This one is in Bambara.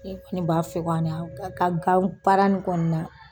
Ne kɔni b'a fe u ka na u ka ka gan baara nin kɔ na